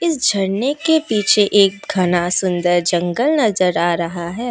इस झरने के पीछे एक घना सुंदर जंगल नजर आ रहा है।